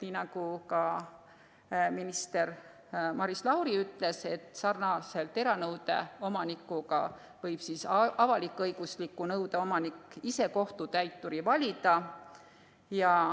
Nii nagu ka minister Maris Lauri ütles, samamoodi nagu eranõude omanik võib avalik-õigusliku nõude omanik ise kohtutäiturit valida.